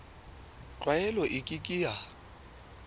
tlwaelo e ke ke ya